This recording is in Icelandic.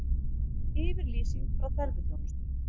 Yfirlýsing frá tölvuþjónustu